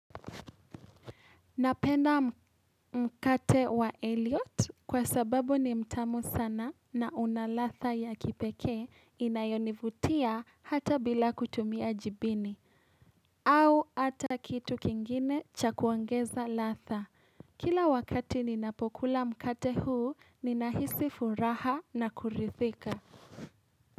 Napenda mkate wa Eliot kwa sababu ni mtamu sana na una ladha ya kipekee inayonivutia hata bila kutumia jibini. Hau ata kitu kingine cha kuogeza ladha. Kila wakati ninapokula mkate huu, ninahisi furaha na kurithika.